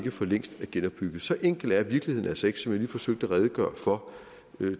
for længst er genopbygget så enkel er virkeligheden altså ikke som jeg lige forsøgte at redegøre for